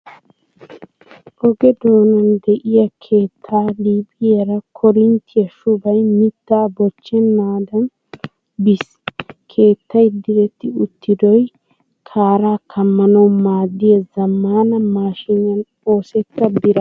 Oge doonan de'iya keettaa liiphiyara koorinttiya shubay mittaa bochchanaaniiddi biis. Keettay diretti uttidoy kaaraa kammanawu maaddiya zammaana maashiiniyan oosetta birataana.